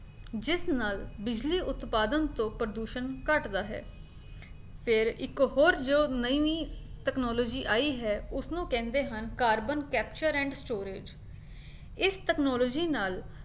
ਜਿਸ ਨਾਲ ਬਿਜਲੀ ਉਤਪਾਦਨ ਤੋਂ ਪ੍ਰਦੂਸ਼ਣ ਘੱਟਦਾ ਹੈ ਫੇਰ ਇੱਕ ਹੋਰ ਜੋ ਨਈਂ ਨਈਂ technology ਆਈ ਹੈ ਉਸਨੂੰ ਕਹਿੰਦੇ ਹਨ carbon capture and storage ਇਸ technology ਨਾਲ